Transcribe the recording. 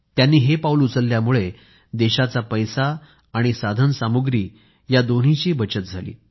त्यांनी हे पाऊल उचलल्यामुळे देशाचा पैसा आणि साधन सामग्रीची बचत झाली